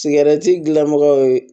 Sigɛrɛti gilamɔgɔw